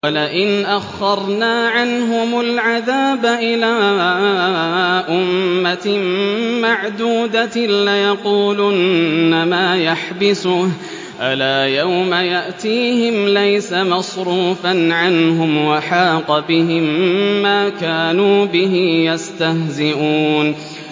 وَلَئِنْ أَخَّرْنَا عَنْهُمُ الْعَذَابَ إِلَىٰ أُمَّةٍ مَّعْدُودَةٍ لَّيَقُولُنَّ مَا يَحْبِسُهُ ۗ أَلَا يَوْمَ يَأْتِيهِمْ لَيْسَ مَصْرُوفًا عَنْهُمْ وَحَاقَ بِهِم مَّا كَانُوا بِهِ يَسْتَهْزِئُونَ